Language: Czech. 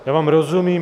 Já vám rozumím.